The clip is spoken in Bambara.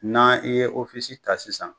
N'an i ye ta sisan